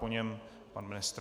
Po něm pan ministr.